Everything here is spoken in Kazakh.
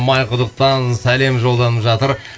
майқұдықтан сәлем жолданып жатыр